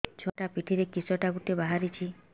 ଛୁଆ ପିଠିରେ କିଶଟା ଗୋଟେ ବାହାରିଛି